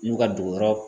N'u ka dugu yɔrɔ